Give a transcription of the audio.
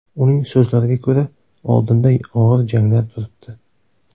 Uning so‘zlariga ko‘ra, oldinda og‘ir janglar turibdi.